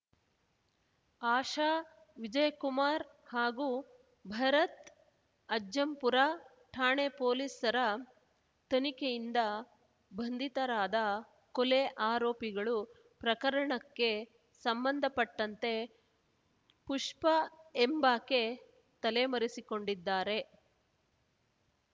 ಆಶಾ ವಿಜಯಕುಮಾರ್ ಹಾಗೂ ಭರತ್‌ ಅಜ್ಜಂಪುರ ಠಾಣೆ ಪೊಲೀಸರ ತನಿಖೆಯಿಂದ ಬಂಧಿತರಾದ ಕೊಲೆ ಆರೋಪಿಗಳು ಪ್ರಕರಣಕ್ಕೆ ಸಂಬಂಧಪಟ್ಟಂತೆ ಪುಷ್ಪ ಎಂಬಾಕೆ ತಲೆಮರೆಸಿಕೊಂಡಿದ್ದಾರೆ